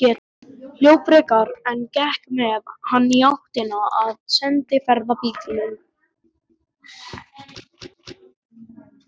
Hljóp frekar en gekk með hann í áttina að sendiferðabílnum.